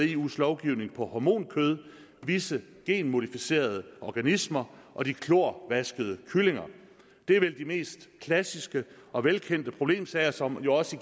eus lovgivning om hormonkød visse genmodificerede organismer og de klorvaskede kyllinger det er vel de mest klassiske og velkendte problemsager som jo også